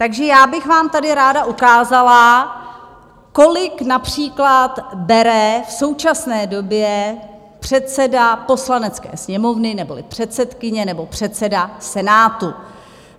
Takže já bych vám tady ráda ukázala, kolik například bere v současné době předseda Poslanecké sněmovny neboli předsedkyně nebo předseda Senátu.